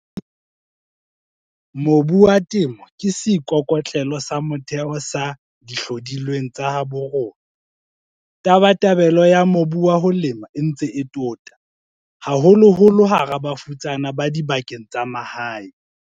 Mobu wa Temo ke seikokotlelo sa motheo sa dihlodilweng tsa habo rona. Tabatabelo ya mobu wa ho lema e ntse e tota, haholoholo hara bafutsana ba dibakeng tsa mahae.